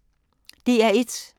DR1